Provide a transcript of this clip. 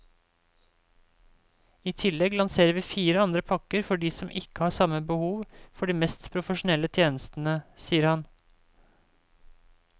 I tillegg lanserer vi fire andre pakker for de som ikke har samme behov for de mest profesjonelle tjenestene, sier han.